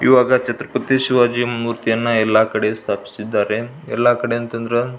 ಈವಾಗ ಛತ್ರಪತಿ ಶಿವಾಜಿಯ ಮೂರ್ತಿಯನ್ನು ಎಲ್ಲ ಕಡೆ ಸ್ಥಾಪಿಸಿದ್ದಾರೆ ಎಲ್ಲ ಕಡೆ ಅಂತ ಅಂದ್ರ--